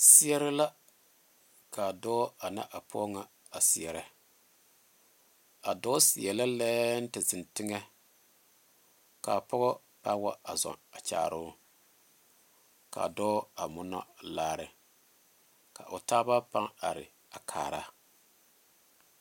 Seɛrɛ la kaa dɔɔ ane a pɔge ŋa a seɛrɛ a dɔɔ seɛ la lɛɛŋ te zeŋ teŋa kaa pɔga a wa a zɔɔ kyaare o kaa dɔɔ a mono laare ka o taaba paŋ are a kaara